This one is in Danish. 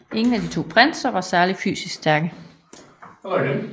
Ingen af de to prinser var særlig fysisk stærke